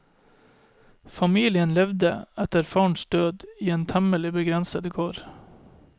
Familien levde, etter farens død, i temmelig begrensede kår.